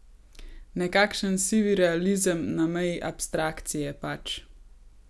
Nekakšen sivi realizem na meji abstrakcije pač.